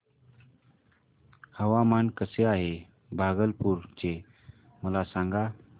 हवामान कसे आहे भागलपुर चे मला सांगा